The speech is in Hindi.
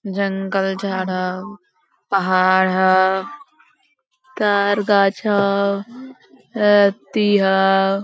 जंगल झाड़ हो पहाड़ हो तार गाछ हो व्यक्ति हो।